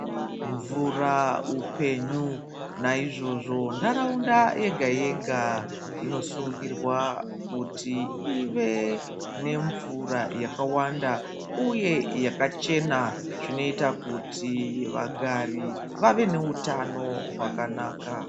Mvura hupenyu naizvozvo nharaunda yega-yega. Inosungirwa kuti ive nemvura yakawanda, uye yakachena zvinoita kuti vagari vave neutano hwakanaka.